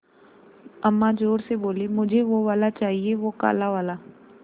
अम्मा ज़ोर से बोलीं मुझे वो वाला चाहिए वो काला वाला